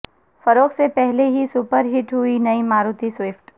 فروخت سے پہلے ہی سپر ہٹ ہوئی نئی ماروتی سوئفٹ